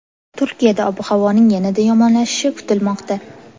Turkiyada ob-havoning yanada yomonlashishi kutilmoqda.